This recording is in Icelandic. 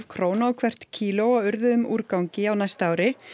krónur á hvert kíló af úrgangi á næsta ári